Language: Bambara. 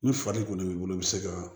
Ni fari kɔni b'i bolo i bɛ se ka